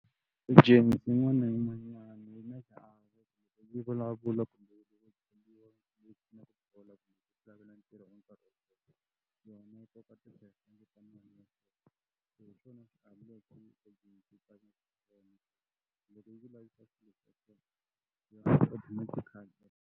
James yin'wana na yin'wanyana yi vulavula